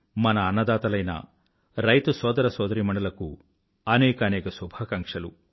మన అన్నదాతలైన రైతు సోదరసోదరీమణులకు అనేకానేక శుభాకాంక్షలు